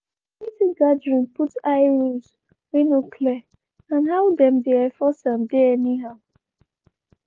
di community gathering put eye rules wey no clear and and how dem dey enforce dem anyhow.